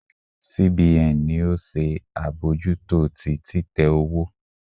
C B N ni o se abojuto ti titẹ owo